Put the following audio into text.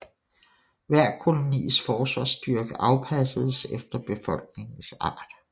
Hver kolonis forsvarsstyrke afpassedes efter befolkningens art